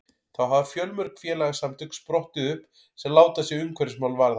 þá hafa fjölmörg félagasamtök sprottið upp sem láta sig umhverfismál varða